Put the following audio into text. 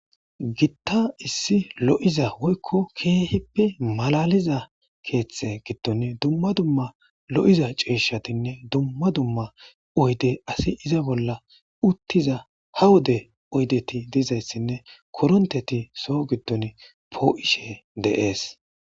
gitta issi lo7iza woykko keehippi malaliza keeththe giddon dumma dumma lo7iza cieshatinne dumma dumma oydey asi iza bolla uttiza ha wode oydeti dizayssinne koronteti soo giddon poo7ishe deees